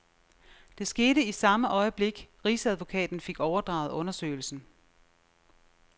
Det skete i samme øjeblik, rigsadvokaten fik overdraget undersøgelsen.